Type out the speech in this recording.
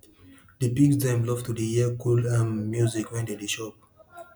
di pigs dem love to dey hear cool um music when dem dey chop